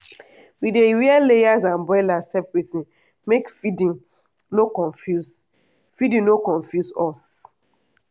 we dey rear layers and broilers separate make feeding no confuse feeding no confuse us.